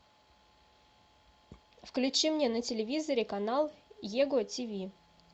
включи мне на телевизоре канал его тиви